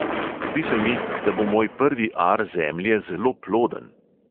Zdi se mi, da bo moj prvi ar zemlje zelo ploden.